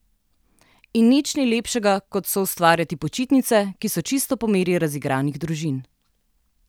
In nič ni lepšega kot soustvarjati počitnice, ki so čisto po meri razigranih družin.